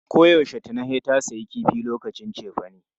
Koyaushe Tina sai ta sayi kifi lokacin cefane.